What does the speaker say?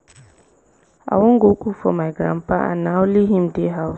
i wan go cook for my grandpa and na only him dey house